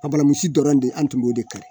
Ka balansi dɔrɔn de an tun b'o de kɛ